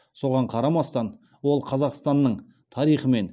соған қарамастан ол қазақстанның тарихымен